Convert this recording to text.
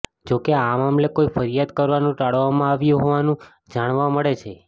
જોકે આ મામલે કોઇ ફરિયાદ કરવાનું ટાળવામાં આવ્યું હોવાનું જાણવા મળે છે